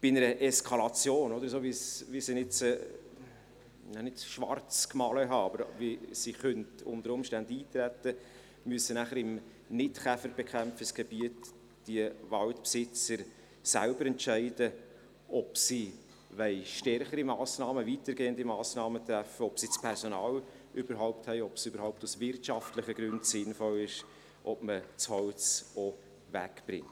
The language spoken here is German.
Bei einer Eskalation, wie ich sie jetzt zwar nicht schwarzgemalt habe, aber wie sie unter Umständen eintreten könnte, müssen im Nicht-Käferbekämpfungsgebiet die Waldbesitzer später selbst entscheiden, ob sie stärkere, weitergehende Massnahmen treffen wollen, ob sie das Personal dazu überhaupt haben, ob es aus wirtschaftlichen Gründen überhaupt sinnvoll ist und ob man das Holz auch wegbringt.